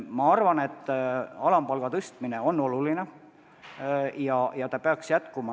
Ma arvan, et alampalga tõstmine on oluline ja peaks jätkuma.